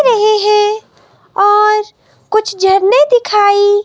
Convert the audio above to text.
रहे हैं और कुछ झरने दिखाई--